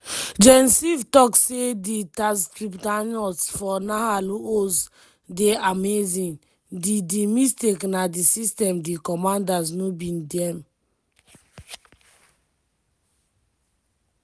gen ziv tok say di tatzpitaniyot for nahal oz "dey amazing - di - di mistake na di system di commanders no be dem".